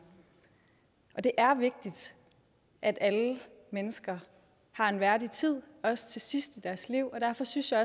der det er vigtigt at alle mennesker har en værdig tid også sidst i deres liv og derfor synes jeg